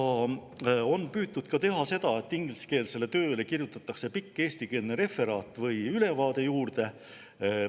On püütud teha seda, et ingliskeelsele tööle kirjutatakse pikk eestikeelne referaat või ülevaade juurde.